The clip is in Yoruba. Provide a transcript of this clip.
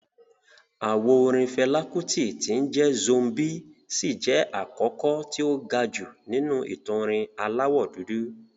Àwo orin Fẹlá Kútì tí ń jẹ́ "Zombie" ṣì jẹ́ àkọ́kọ́ tí ó ga jù nínú ìtàn orin aláwọ̀ dúdú